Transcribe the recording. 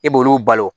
E b'olu balo